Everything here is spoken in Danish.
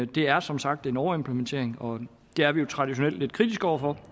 det er som sagt en overimplementering og det er vi jo traditionelt lidt kritiske over